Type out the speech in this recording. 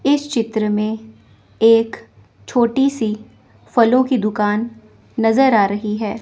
इस चित्र में एक छोटी सी फलों की दुकान नजर आ रही है।